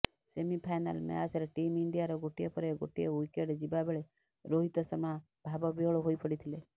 semifinal ମ୍ୟାଚରେ team ଇଣ୍ଡିଆର ଗୋଟିଏ ପରେ ଗୋଟିଏ ଓ୍ୱିକେଟ ଯିବାବେଳେ ରୋହିତ ଶର୍ମା ଭାବବିହ୍ୱଳ ହୋଇ ପଡ଼ିଥିଲେ